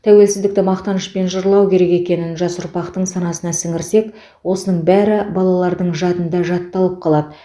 тәуелсіздікті мақтанышпен жырлау керек екенін жас ұрпақтың санасына сіңірсек осының бәрі балалардың жадында жатталып қалады